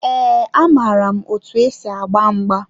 Ee, amaara m otu esi agba mgba.